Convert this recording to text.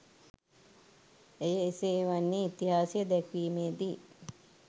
එය එසේ වන්නේ ඉතිහාසය දැක්වීමේ දී